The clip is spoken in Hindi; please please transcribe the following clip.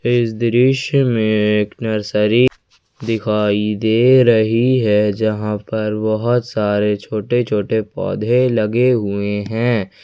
इस दृश्य में एक नर्सरी दिखाई दे रही है जहां पर बहोत सारे छोटे छोटे पौधे लगे हुएं हैं।